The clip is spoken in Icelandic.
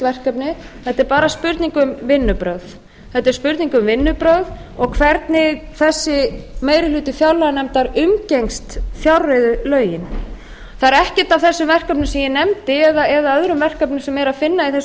verkefni þetta er bara spurning um vinnubrögð og hvernig þessi meiri hluti fjárlaganefndar umgengst fjárreiðulögin það er ekkert af þessum verkefnum sem ég benda eða öðrum verkefnum sem er að finna í þessum